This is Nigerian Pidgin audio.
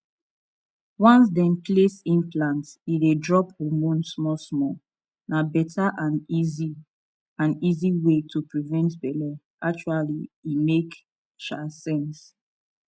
once dem place implant e dey drop hormone smallsmall na better and easy and easy way to prevent belle actually e make um sense